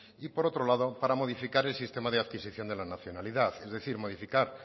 y por otro lado para modificar el sistema de adquisición de la nacionalidad es decir modificar